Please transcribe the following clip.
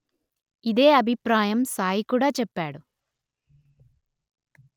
ఇదే అభిప్రాయం సాయి కూడా చెప్పాడు